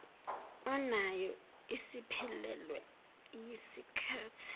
onayo isiphelelwe yisikhathi